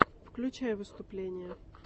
включай выступления